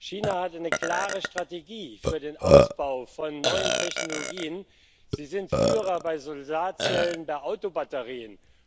China hat eine klare Strategie für den Ausbau von neuen Technologien. Sie sind Führer bei Solarzellen für Autobatterien.